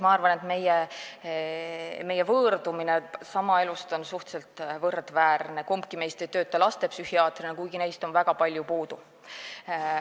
Ma arvan, et meie võõrdumine elust on suhteliselt võrdväärne, kumbki meist ei tööta lastepsühhiaatrina, kuigi neist on väga suur puudus.